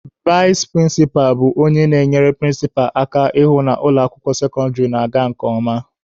Vais prịnsịpa bụ onye na-enyere prịnsịpa aka ịhụ na ụlọ akwụkwọ sekọndịrị na-aga nke ọma.